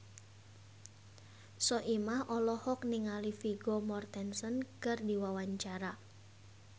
Soimah olohok ningali Vigo Mortensen keur diwawancara